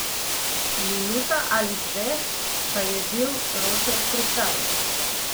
Minuta ali dve, pa je bil ročaj pripravljen.